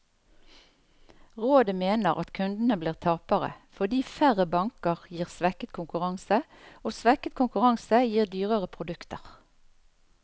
Rådet mener at kundene blir tapere, fordi færre banker gir svekket konkurranse, og svekket konkurranse gir dyrere produkter.